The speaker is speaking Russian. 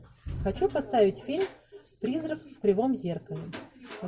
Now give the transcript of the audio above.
хочу поставить фильм призрак в кривом зеркале